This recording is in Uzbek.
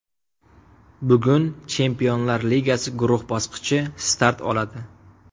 Bugun Chempionlar Ligasi guruh bosqichi start oladi.